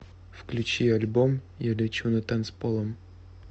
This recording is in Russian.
включи альбом я лечу над танцполом